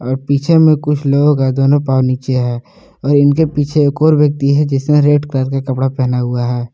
और पीछे में कुछ लोग हैं दोनों पांव नीचे है और ईनके पीछे एक और व्यक्ति है जिसने रेड कलर का कपड़ा पहना हुआ है।